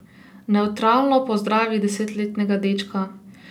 Nevtralno pozdravi desetletnega dečka.